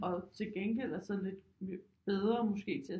Og til gengæld er så lidt bedre måske til at